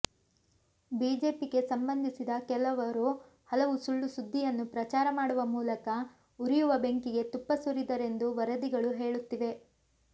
ಬಿಜೆಪಿಗೆ ಸಂಬಂಧಿಸಿದ ಕೆಲವರು ಹಲವು ಸುಳ್ಳು ಸುದ್ದಿಯನ್ನು ಪ್ರಚಾರ ಮಾಡುವ ಮೂಲಕ ಉರಿಯುವ ಬೆಂಕಿಗೆ ತುಪ್ಪ ಸುರಿದರೆಂದು ವರದಿಗಳು ಹೇಳುತ್ತಿವೆ